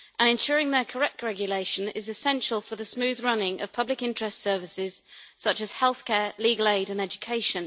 Ensuring their correct regulation is essential for the smooth running of public interest services such as health care, legal aid and education.